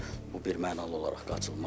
Bu birmənalı olaraq qaçılmazdır.